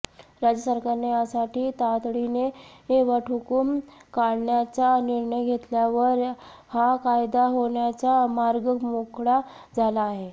राज्य सरकारने यासाठी तातडीने वटहुकूम काढण्याचा निर्णय घेतल्यावर हा कायदा होण्याचा मार्ग मोकळा झाला आहे